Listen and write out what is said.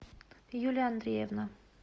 юлия андреевна